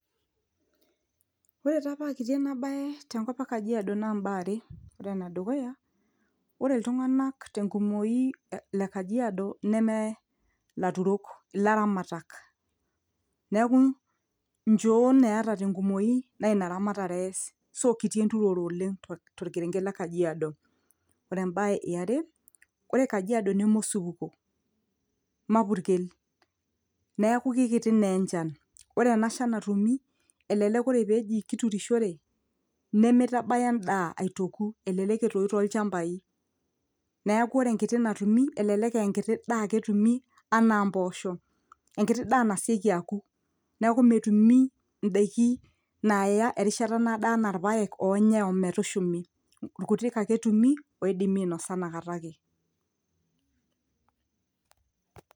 Ore taa paa kiti ena baye tenkop ekajiadio naa imbaa are ene dukuya; ore iltunganak tengumuyu le kajiado neme ilaturok ilaramatak, neeku injoon eeta tengumuyu naa ina ramatere eas so kiti enturore oleng', tokerenket le kajiado. Ore embae eare ore kajiado neme osupuko, mapurkel neaku kiti naa enjan, ore ena shan natumi elelek ore peeji kiturushere, nemeitabaya endaa eitooku elelek etoyu toochambai, neeku ore enkiti natumi elelek ee nkiti daa ake etumi enaa imboosho, enkiti daa nasioki aoku neeku netumi endaiki naaya erishata naado enaa ilpayek oonyai ometushumi ilkutik ake etumi oidimi ainosa nakata ake.